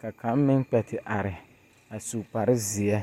ka kaŋa meŋ kpԑ te are su kpare zeԑ.